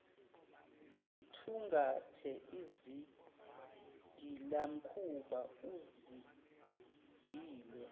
zithungathe izigilamkhuba ezigile